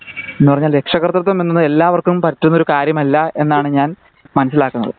എന്ന പറഞ്ഞാൽ രക്ഷാകർത്തിത്തം എന്നാൽ എല്ലാര്ക്കും പറ്റുന്ന ഒരു കാര്യം അല്ല എന്നാണ്